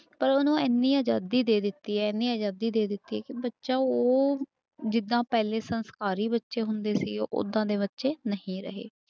ਪਰ ਉਹਨੂੰ ਇੰਨੀ ਆਜ਼ਾਦੀ ਦੇ ਦਿੱਤੀ ਹੈ ਇੰਨੀ ਆਜ਼ਾਦੀ ਦੇ ਦਿੱਤੀ ਕਿ ਬੱਚਾ ਉਹ ਜਿੱਦਾਂ ਪਹਿਲੇ ਸੰਸਕਾਰੀ ਬੱਚੇ ਹੁੰਦੇ ਸੀ ਓਦਾਂ ਦੇ ਬੱਚੇ ਨਹੀਂ ਰਹੇ।